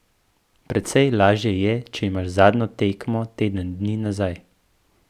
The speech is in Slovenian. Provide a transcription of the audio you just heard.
Precej lažje je, če imaš zadnjo tekmo teden dni nazaj.